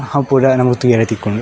ಅವು ಪೂರ ನಮಕ್ ತೂವರೆ ತಿಕ್ಕುಂಡು.